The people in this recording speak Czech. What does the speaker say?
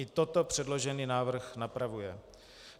I toto předložený návrh napravuje.